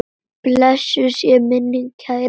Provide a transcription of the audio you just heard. Blessuð sé minning kærrar frænku.